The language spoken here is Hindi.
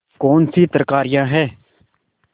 कौनसी तरकारियॉँ हैं